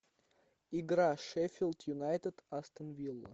игра шеффилд юнайтед астон вилла